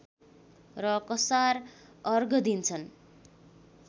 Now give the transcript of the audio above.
र कसार अर्घ दिन्छन्